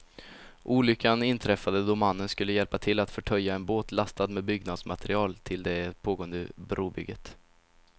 Olyckan inträffade då mannen skulle hjälpa till att förtöja en båt lastad med byggnadsmaterial till det pågående brobygget.